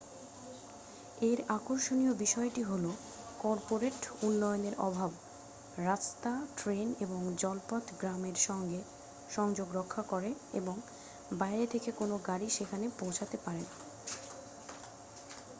এর আকর্ষণীয় বিষয়টি হল কর্পোরেট উন্নয়নের অভাব রাস্তা ট্রেন এবং জলপথ গ্রামের সঙ্গে সংযোগ রক্ষা করে এবং বাইরে থেকে কোনও গাড়ি সেখানে পৌঁছোতে পারে না